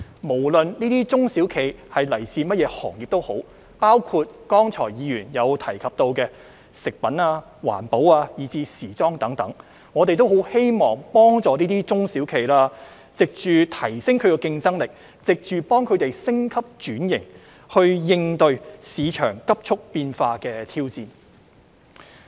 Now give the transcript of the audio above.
無論這些中小企來自甚麼行業，包括議員剛才提到的食品、環保，以至時裝等，我們都很希望幫助中小企，藉着提升它們的競爭力和進行升級轉型，應對市場急速變化的挑戰。